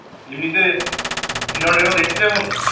এমনিতে সিনেমা-টিনেমা দেখছিস এখন?